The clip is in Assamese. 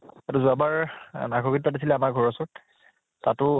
এইটো যোৱাবাৰ আমাৰ ঘৰ ৰ ওচৰত । তাতো